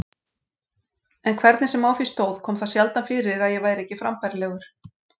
En hvernig sem á því stóð kom það sjaldan fyrir að ég væri ekki frambærilegur.